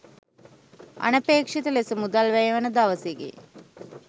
අනපේක්ෂිත ලෙස මුදල් වැය වන දවසකි.